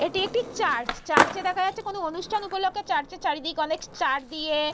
এটি একটি church church -এ দেখা যাচ্ছে কোনো অনুষ্ঠান উপলক্ষ্য চার্চ -এর চারিদিক অনেক চার দিয়ে--